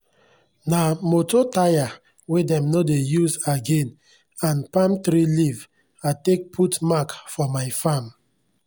nah moto tyre wey dem no dey use again and palm tree leaf i take put mark for my farm